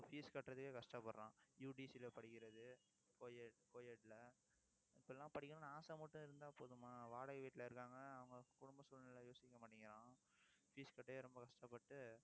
இப்ப fees கட்டுறதுக்கே கஷ்டப்படுறான். UTC ல படிக்கிறது இப்படி எல்லாம் படிக்கணும்னு ஆசை மட்டும் இருந்தா போதுமா வாடகை வீட்டுல இருக்காங்க. அவங்க குடும்ப சூழ்நிலை யோசிக்க மாட்டேங்கிறான். fees கட்டவே ரொம்ப கஷ்டப்பட்டு